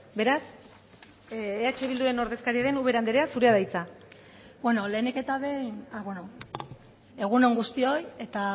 beraz eh bilduren ordezkaria den ubera anderea zurea da hitza bueno lehenik eta behin egun on guztioi eta